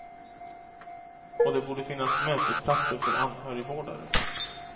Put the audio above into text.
Och det borde finnas mötesplatser för anhörigvårdare.